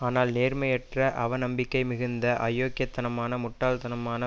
ஆனால் நேர்மையற்ற அவநம்பிக்கை மிகுந்த அயோக்கியத்தனமான முட்டாள்தனமான